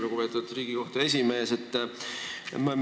Lugupeetud Riigikohtu esimees!